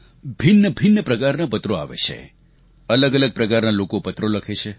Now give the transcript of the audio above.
ભિન્નભિન્ન પ્રકારનાં પત્રો આવે છે અલગઅલગ પ્રકારના લોકો પત્રો લખે છે